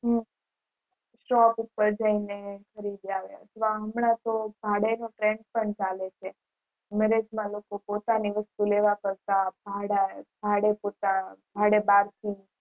હું છ હમણાં તો ભાડા પર ચાલે છે નરેશ ના લોકો પોતાની વસ્તુ લેવા કરતા ભાડા લાય આવે